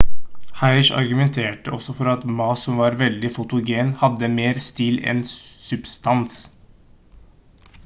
hsieh argumenterte også for at ma som var veldig fotogen hadde mer stil enn substans